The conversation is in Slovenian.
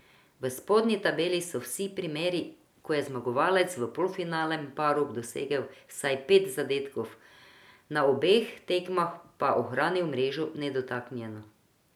V spodnji tabeli so vsi primeri, ko je zmagovalec v polfinalnem paru dosegel vsaj pet zadetkov, na obeh tekmah pa ohranil mrežo nedotaknjeno.